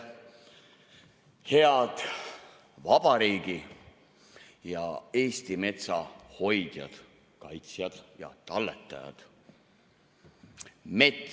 Head vabariigi ja Eesti metsa hoidjad, kaitsjad ja talletajad!